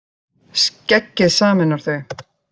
Skeggið sameinar þau